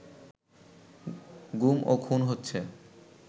গুম ও খুন হচ্ছে